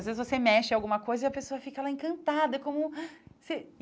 Às vezes você mexe em alguma coisa e a pessoa fica lá encantada como.